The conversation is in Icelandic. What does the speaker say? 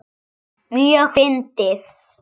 Mjög fyndið.